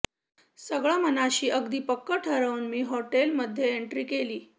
सगळ मनाशी अगदी पक्क ठरवून मी हॉटेल मध्ये एन्ट्री केली